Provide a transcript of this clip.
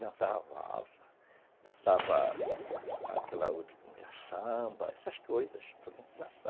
dançava a valsa, dançava aquela outra que samba, essas coisas, dançava